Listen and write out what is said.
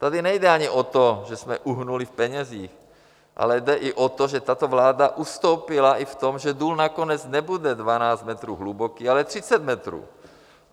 Tady nejde ani o to, že jsme uhnuli v penězích, ale jde i o to, že tato vláda ustoupila i v tom, že důl nakonec nebude 12 metrů hluboký, ale 30 metrů.